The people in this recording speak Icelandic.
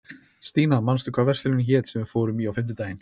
Stína, manstu hvað verslunin hét sem við fórum í á fimmtudaginn?